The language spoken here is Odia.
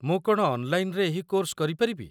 ମୁଁ କ'ଣ ଅନ୍‌ଲାଇନ୍‌ରେ ଏହି କୋର୍ସ କରିପାରିବି?